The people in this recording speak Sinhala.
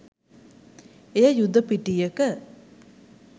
එය යුද පිටියක